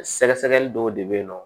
Sɛgɛsɛgɛli dɔw de bɛ yen nɔ